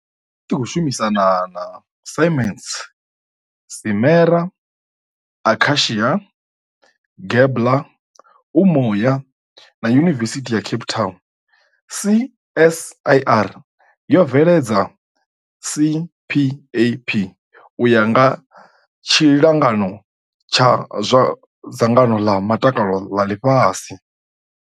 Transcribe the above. I tshi khou shumisana na Siemens, Simera, Akacia, Gabler, Umoya na Yuni-vesithi ya Cape Town, CSIR yo bveledza CPAP u ya nga tshilingano tsha zwa Dzangano ḽa Mutakalo ḽa Ḽifhasi.